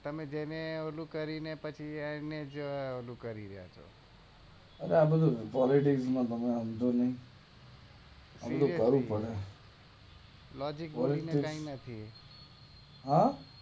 તમે જેને ઓલું કરી ને પછી એને જ ઓલું કરીએ અરે આ બધું પોલિટિક્સ તમે હમજો ને લોજીક જોઈ ને કઈ નથી હે